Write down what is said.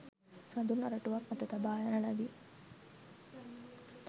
සඳුන් අරටුවක් අත තබා යන ලදී.